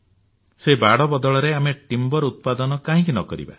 ସେହି ବାଡ ବଦଳରେ ଆମେ କାଠ ଉତ୍ପାଦନ କାହିଁକି ନ କରିବା